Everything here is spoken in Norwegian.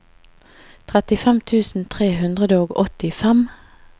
trettifem tusen tre hundre og åttifem